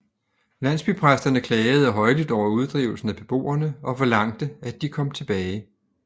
Landsbypræsterne klagede højlydt over uddrivelsen af beboerne og forlangte at de kom tilbage